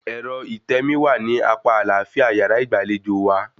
Ẹ̀rọ ìtẹmií wà ní apá àlàáfíà yàrá ìgbàlejò wa